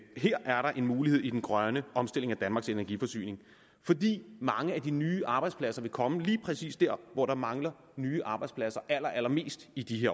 her er der en mulighed i den grønne omstilling af danmarks energiforsyning fordi mange af de nye arbejdspladser vil komme lige præcis der hvor der mangler nye arbejdspladser allerallermest i de